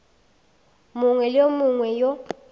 mongwe le wo mongwe wo